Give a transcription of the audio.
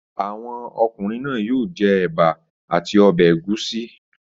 Àwọn ọkùnrin náà yóò jẹ ẹ̀bà a ti ọbẹ̀ ẹ̀gúsí!